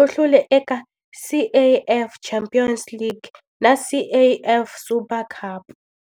u hlule eka CAF Champions League na CAF Super Cup.